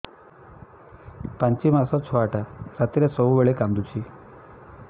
ପାଞ୍ଚ ମାସ ଛୁଆଟା ରାତିରେ ସବୁବେଳେ କାନ୍ଦୁଚି